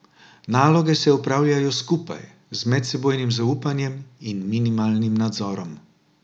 Naloge se opravljajo skupaj, z medsebojnim zaupanjem in minimalnim nadzorom.